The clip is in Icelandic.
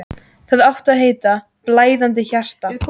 Það átti að heita: Blæðandi hjarta.